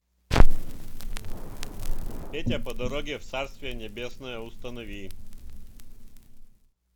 петя по дороге в царствие небесное установи